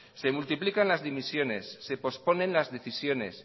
se multiplica las dimisiones se pospone las decisiones